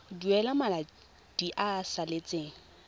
duela madi a a salatseng